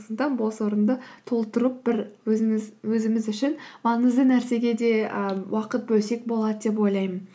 сондықтан бос орынды толтырып бір өзіміз үшін маңызды нәрсеге де ы уақыт бөлсек болады деп ойлаймын